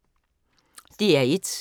DR1